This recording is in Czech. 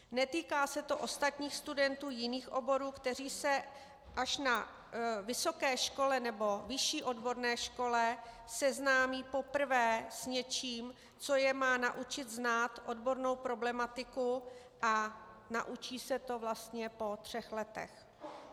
Netýká se to ostatních studentů jiných oborů, kteří se až na vysoké škole nebo vyšší odborné škole seznámí poprvé s něčím, co je má naučit znát odbornou problematiku, a naučí se to vlastně po třech letech.